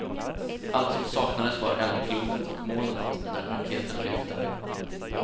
Allt som saknades var eldklotet och molnet när raketen lyfte.